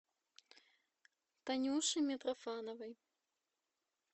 танюши митрофановой